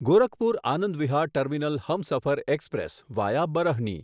Gorakhpur Anand Vihar terminal Humsafar express via Barhni